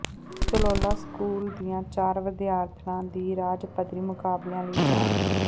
Chalola school ਦੀਆਂ ਚਾਰ ਵਿਦਿਆਰਥਣਾਂ ਦੀ ਰਾਜ ਪੱਧਰੀ ਮੁਕਾਬਲਿਆਂ ਲਈ ਚੋਣ